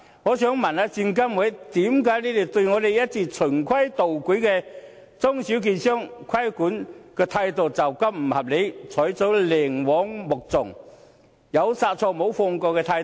我想問證監會，為何對我們這些一直循規蹈矩的中小券商的規管態度會是如此不合理，採取寧枉莫縱，有殺錯無放過的態度？